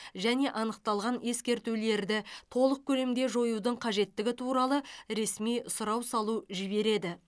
және анықталған ескертулерді толық көлемде жоюдың қажеттігі туралы ресми сұрау салу жібереді